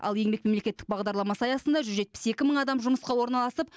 ал еңбек мемлекеттік бағдарламасы аясында жүз жетпіс екі мың адам жұмысқа орналасып